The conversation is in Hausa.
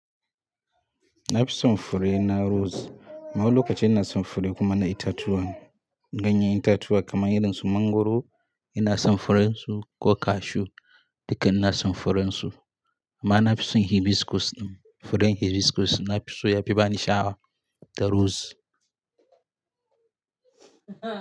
Na fi son fure na roz. Amma wani lokaci ina son fure na itatuwan ganyen itatuwa kaman irin su mangwaro. Ina son furen su ko cashew dukka ina son furen su. Amma na fi son hibiscus ɗin, furen hibiscus na fi so ya fi ba ni sha'awa da roz.